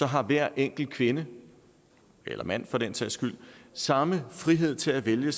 har hver enkelt kvinde eller mand for den sags skyld samme frihed til at vælge